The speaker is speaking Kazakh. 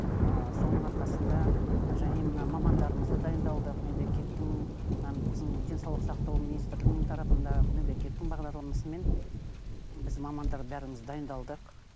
ыыы соның арқасында және мына мамандарымызды дайындалдық мемлекеттің мына біздің денсаулық сақтау министрлігінің тарапында мемлекеттің бағдарламасымен біз мамандар бәріміз дайындалдық